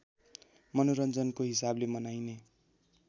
मनोरञ्जनको हिसाबले मनाइने